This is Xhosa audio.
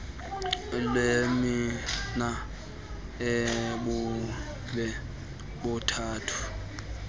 lwendima ebume buthathu